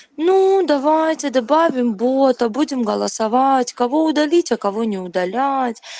ну давайте добавим бота будем голосовать кого удалить а кого не удалять